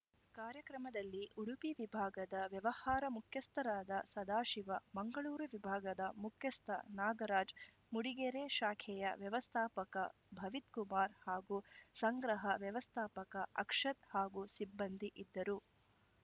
ಕಾರ್ಯಕ್ರಮದಲ್ಲಿ ಉಡುಪಿ ವಿಭಾಗದ ವ್ಯವಹಾರ ಮುಖ್ಯಸ್ಥರಾದ ಸದಾಶಿವ ಮಂಗಳೂರು ವಿಭಾಗದ ಮುಖ್ಯಸ್ಥ ನಾಗರಾಜ್‌ ಮೂಡಿಗೆರೆ ಶಾಖೆಯ ವ್ಯವಸ್ಥಾಪಕ ಭವಿತ್‌ಕುಮಾರ್‌ ಹಾಗೂ ಸಂಗ್ರಹ ವ್ಯವಸ್ಥಾಪಕ ಅಕ್ಷತ್‌ ಹಾಗೂ ಸಿಬ್ಬಂದಿ ಇದ್ದರು